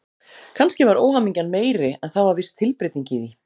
Kannski var óhamingjan meiri, en það var viss tilbreyting í því.